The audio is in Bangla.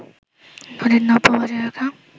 নদীর নাব্য বজায় রাখা